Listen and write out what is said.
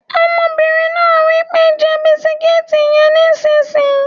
Ọmọbìnrin náà wí pé "jẹ bisikíìtì yẹn nísìín!"